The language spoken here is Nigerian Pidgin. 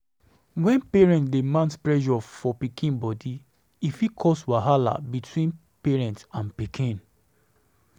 When parents dey mount pressure for pikin body, e fit cause wahala between parent and pikin